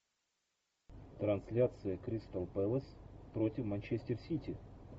трансляция кристал пэлас против манчестер сити